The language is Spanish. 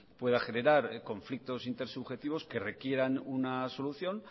pueda general conflictos intersubjetivos que requieran una solución